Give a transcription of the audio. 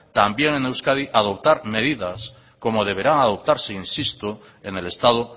también en euskadi adoptar medidas como deberán adoptarse insisto en el estado